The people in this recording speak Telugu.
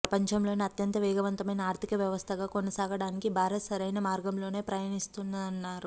ప్రపంచంలోనే అత్యంత వేగవంతమైన ఆర్థిక వ్యవస్థగా కొనసాగడానికి భారత్ సరైన మార్గంలోనే పయనిస్తోందన్నారు